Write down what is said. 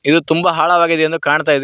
ಇದು ತುಂಬ ಹಾಳವಾಗಿದೆ ಎಂದು ಕಾಣುತಾ ಇದೆ.